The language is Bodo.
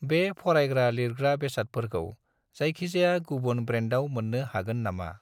बे फरायग्रा-लिरग्रा बेसादफोरखौ जायखिजाया गुबुन ब्रेन्डाव मोन्नो हागोन नामा?